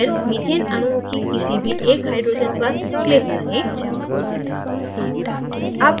फिर methane अणुओं की किसी भी एक hydrogens पर click करें